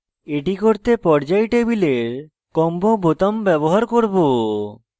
এটি করতে পর্যায় table combo বোতাম ব্যবহার করব